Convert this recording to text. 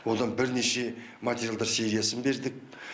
одан бірнеше материалдар сериясын бердік